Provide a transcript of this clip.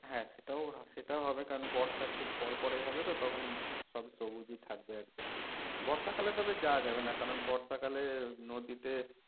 হাঁ সেটাও সেটাও হবে কারণ বর্ষার ঠিক পরপরেই হবে তো তখন সব সবুজ ই থাকবে একদম বর্ষাকালে তবে যাওয়া যাবে না কারণ বর্ষাকালে নদীতে